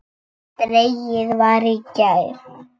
Dregið var í gær.